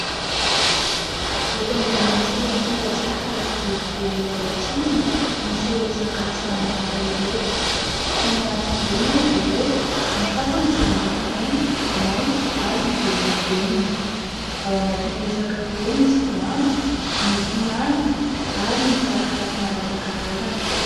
Eto ambonin'ity latabatra hazo boribory iray ity no misy ireto sakafo samihafa ireto. Samy anaty vilia moa izy ireo. Ny sasany dia miloko mainty, maintso ary ny volon-davenina. Ao anatin'ireo sakafo ireo misy voanjo, mofomamy ary ny tsakitsaky maro isan-karazany.